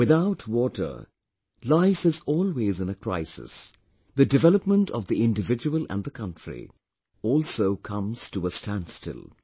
Without water life is always in a crisis... the development of the individual and the country also comes to a standstill